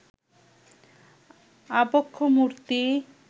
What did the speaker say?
আবক্ষ মূর্তি